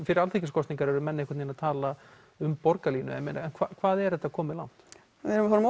fyrir alþingiskosningar eru menn einhvern vegin að tala um borgarlínu en hvað er þetta komið langt við erum að fara